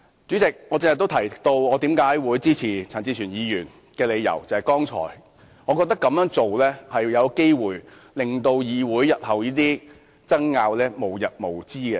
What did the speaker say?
主席，我剛才也提到支持陳志全議員的理由，是這樣做有機會令議會日後的爭拗無日無之。